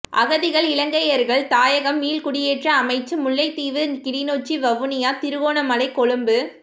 அகதிகள் இலங்கையர்கள் தாயகம் மீள்குடியேற்ற அமைச்சு முல்லைத்தீவு கிளிநொச்சி வவுனியா திருகோணமலை கொழும்பு